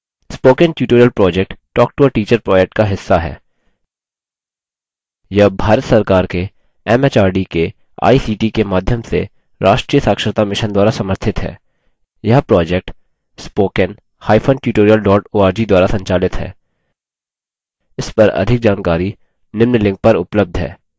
spoken tutorial project talktoateacher project का हिस्सा है यह भारत सरकार के एमएचआरडी के आईसीटी के माध्यम से राष्ट्रीय साक्षरता mission द्वारा समर्थित है यह project